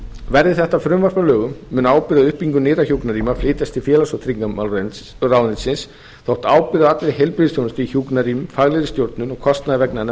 verði þetta frumvarp að lögum mun ábyrgð á uppbyggingu nýrra hjúkrunarrýma flytjast til félags og tryggingamálaráðuneytisins þótt ábyrgð á allri heilbrigðisþjónustu í hjúkrunarrýmum faglegri stjórnun og kostnaður vegna hennar